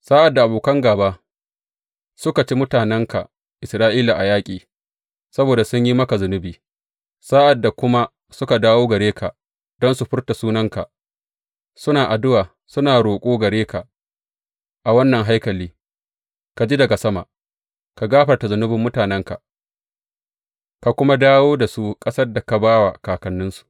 Sa’ad da abokan gāba suka ci mutanenka Isra’ila a yaƙi saboda sun yi maka zunubi, sa’ad da kuma suka dawo gare ka don su furta sunanka, suna addu’a suna roƙo gare ka a wannan haikali, ka ji daga sama, ka gafarta zunubin mutanenka, ka kuma dawo da su ƙasar da ka ba wa kakanninsu.